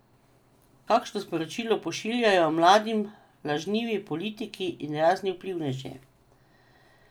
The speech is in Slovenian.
Kakšno sporočilo pošiljajo mladim lažnivi politiki in razni vplivneži?